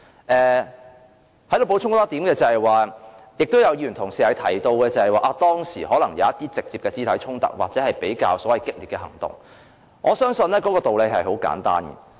我想在此補充一點：有議員提及當時可能出現一些直接的肢體衝突或所謂比較激烈的行動，我相信道理十分簡單。